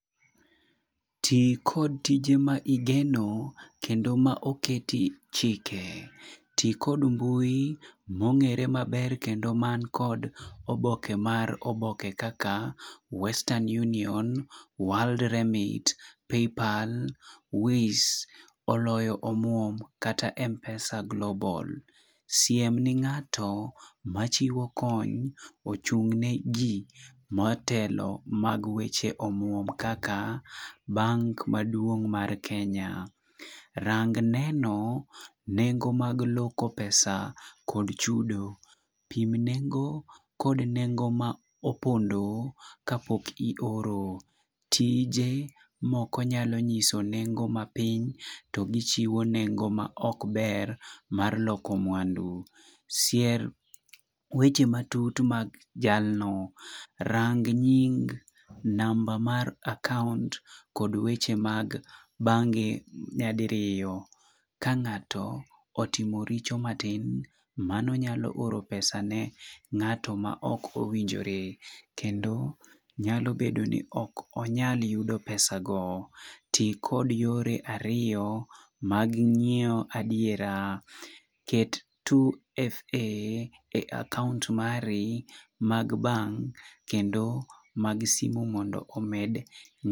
Ti kod tije ma igeno kendo ma oketi chike. Ti kod mbui mong'ere maber kendo man kod oboke mar oboke kaka, western union, world remit, paypal, ways oloyo omuom kata mpesa global. Siem ne ng'ato machiwo kony ochung' negi motelo mag weche omuom kata bank maduong mar kenya. Rang neno nengo mag loko pesa kod chudo. Pim nengo kod nengo ma opondo kapok ioro. Tije moko nyalo nyiso nengo mapiny to gi chiwo nengo ma ok ber mar loko mwandu. Sier weche matut mag jalno. Rang nying, namba mar account kod weche mag bangi nya diriyo. Ka ng'ato otimo richo matin, mano nyalo ooro pesa ne ng'ato ma ok owinjore. Kendo nyalo bedo ni ok onyal yudo pesa go. Ti kod yore ariyo mag ng'iyo adiera. Ket 2FA e account mari mag bank kendo mag [ce]simu bende mondo omed.